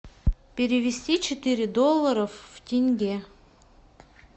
перевести четыре доллара в тенге